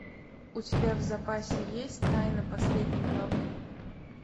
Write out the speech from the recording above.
у тебя в запасе есть тайна последней главы